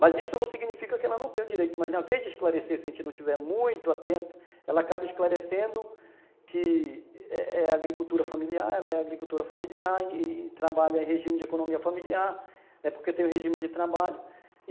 Mas isso não significa que ela não tenha o direito, mas na vez de esclarecer, se a gente não tiver muito atento, ela acaba esclarecendo que é é agricultura familiar, ela é agricultura familiar e trabalha em regime de economia familiar, porque tem o regime de trabalho.